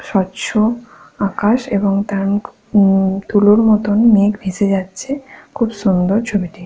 স্বচ্ছ আকাশ এবং তার মুখ উম তুলোর মতন মেঘ ভেসে যাচ্ছে। খুব সুন্দর ছবিটি।